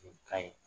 Nin ka ɲi